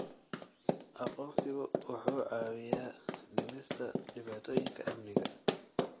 Aqoonsigu wuxuu caawiyaa dhimista dhibaatooyinka amniga.